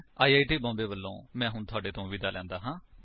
I I T Bombay ਵਲੋਂ ਮੈਂ ਹੁਣ ਤੁਹਾਡੇ ਤੋਂ ਵਿਦਾ ਲੈਂਦਾ ਹਾਂ